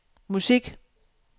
musik